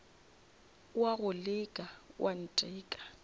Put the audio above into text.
o a go leka oanteka